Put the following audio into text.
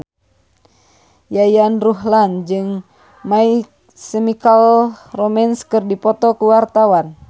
Yayan Ruhlan jeung My Chemical Romance keur dipoto ku wartawan